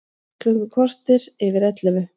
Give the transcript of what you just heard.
Klukkan korter yfir ellefu